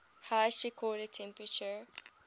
highest recorded temperature